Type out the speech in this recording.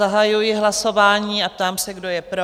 Zahajuji hlasování a ptám se, kdo je pro?